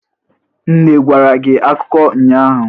Nne gwara gi akụkọ ụnyahụ?